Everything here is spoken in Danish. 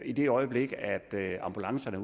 i det øjeblik ambulancerne